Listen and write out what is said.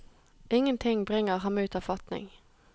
Ingenting bringer ham ut av fatning.